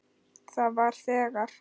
Það var þegar